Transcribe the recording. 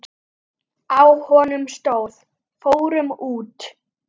Á honum stóð: Fórum út!